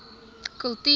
kultuur